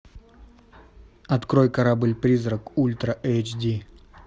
открой корабль призрак ультра эйч ди